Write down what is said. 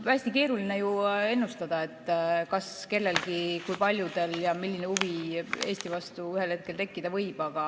Hästi keeruline on ennustada, kas kellelgi, kui paljudel ja milline huvi Eesti vastu ühel hetkel tekkida võib.